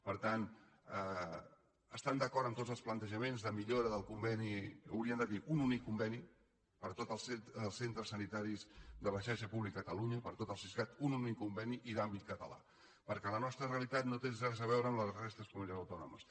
per tant estant d’acord amb tots els plantejaments de millora del conveni hauríem de dir un únic conveni per a tots els centres sanitaris de la xarxa pública de catalunya per a tot el siscat un únic conveni i d’àmbit català perquè la nostra realitat no té res a veure amb la de la resta de les comunitats autònomes